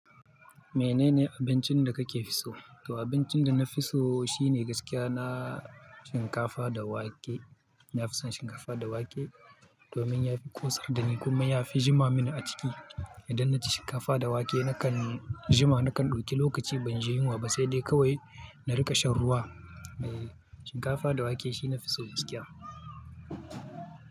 Menene abincin da kake fi so? To abincin da na fi so shine gaskiya na shinkafa da wake. To abincin da na fi so shine gaskiya na shinkafa da wake. Idan na ci shinkafa da wake na kan jima na kan dauki lokaci ban ji yunwa ba sai dai kawai na rika shan ruwa eh shinkafa da wake shi nafi so gaskiya.